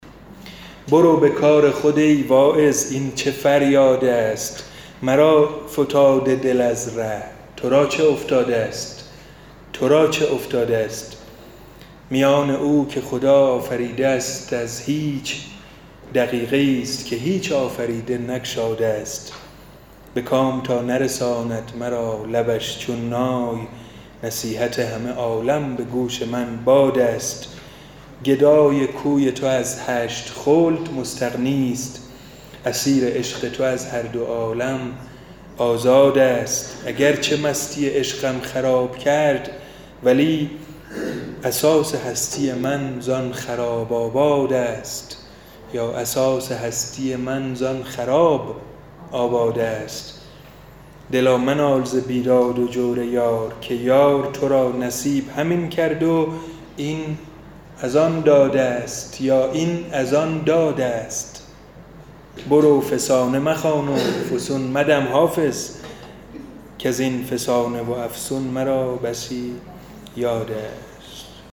برو به کار خود ای واعظ این چه فریادست مرا فتاد دل از ره تو را چه افتادست میان او که خدا آفریده است از هیچ دقیقه ای ست که هیچ آفریده نگشادست به کام تا نرساند مرا لبش چون نای نصیحت همه عالم به گوش من بادست گدای کوی تو از هشت خلد مستغنی ست اسیر عشق تو از هر دو عالم آزادست اگر چه مستی عشقم خراب کرد ولی اساس هستی من زآن خراب آبادست دلا منال ز بیداد و جور یار که یار تو را نصیب همین کرد و این از آن دادست برو فسانه مخوان و فسون مدم حافظ کز این فسانه و افسون مرا بسی یادست